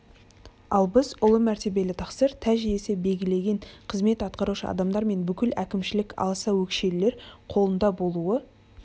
ал біздің ұлы мәртебелі тақсыр тәж иесі белгілеген қызмет атқарушы адамдар мен бүкіл әкімшілік аласа өкшелілер қолында болуы